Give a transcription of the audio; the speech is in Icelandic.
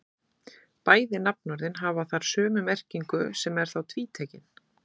Bæði nafnorðin hafa þar sömu merkingu sem er þá tvítekin.